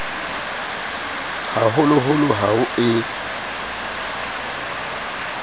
ha holoholo ha ho e